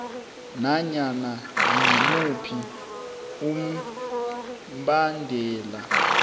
nanyana ngimuphi umbandela